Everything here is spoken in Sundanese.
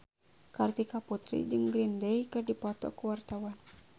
Kartika Putri jeung Green Day keur dipoto ku wartawan